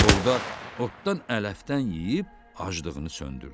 Orda otdan-ələfdən yeyib aclığını söndürdü.